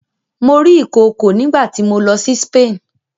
Mo rí ìkookò nígbà tí mo lọ sí Spain.